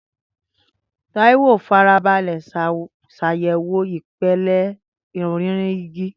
Taiwo farabalẹ̀ ṣàyẹ̀wò ìpele ọ̀rinrin igi